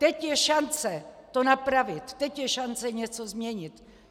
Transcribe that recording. Teď je šance to napravit, teď je šance něco změnit.